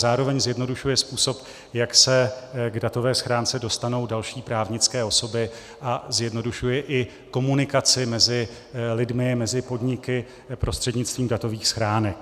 Zároveň zjednodušuje způsob, jak se k datové schránce dostanou další právnické osoby, a zjednodušuje i komunikaci mezi lidmi, mezi podniky prostřednictvím datových schránek.